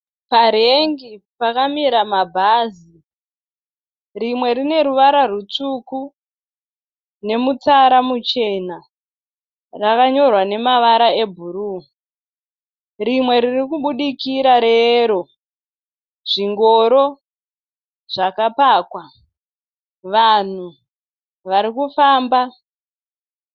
Parank pakamira mabhazi. Rimwe rine ruvara rutsuku nemutsara muchena rakayorwa nemavara ebhuruu. Rimwe ririkubudikira reyellow . Zvingoro zvakapakwa. Vanhu vari kufamba.